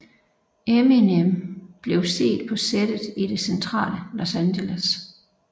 Eminem blev set på settet i det centrale Los Angeles